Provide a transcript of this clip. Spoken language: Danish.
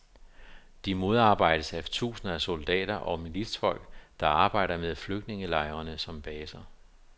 De modarbejdes af tusinder af soldater og militsfolk, der arbejder med flygtningelejrene som baser.